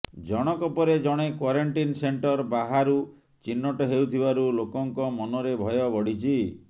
ଜଣକ ପରେ ଜଣେ କ୍ୱାରେଣ୍ଟିନ ସେଣ୍ଟର ବାହାରୁ ଚିହ୍ନଟ ହେଉଥିବାରୁ ଲୋକଙ୍କ ମନରେ ଭୟ ବଢ଼ିଛି